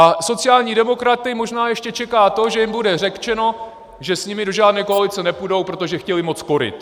A sociální demokraty možná ještě čeká to, že jim bude řečeno, že s nimi do žádné koalice nepůjdou, protože chtěli moc koryt.